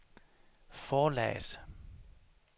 forlaget